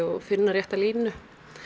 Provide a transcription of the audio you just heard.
finna rétta línu